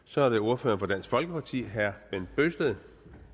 så er det ordføreren for dansk folkeparti herre bent bøgsted